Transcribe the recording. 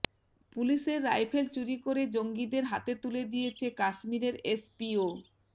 পুলিশের রাইফেল চুরি করে জঙ্গিদের হাতে তুলে দিয়েছে কাশ্মীরের এসপিও